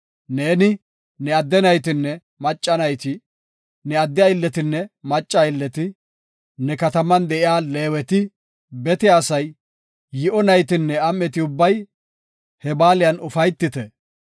Neeni, ne adde naytinne macca nayti, ne adde aylletinne macca aylleti, ne kataman de7iya Leeweti, bete asay, yi7o naytinne am7eti ubbay he baaliyan ufaytite.